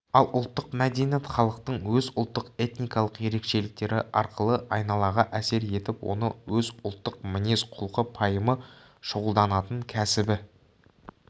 ал ұлттық мәдениет халықтың өз ұлттық-этникалық ерекшеліктері арқылы айналаға әсер етіп оны өз ұлттық мінез-құлқы пайымы шұғылданатын кәсібі